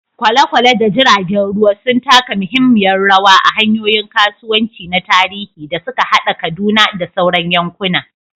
Kwale-kwale da jiragen ruwa sun taka muhimmiyar rawa a hanyoyin kasuwanci na tarihi da suka haɗa Kaduna da sauran yankuna.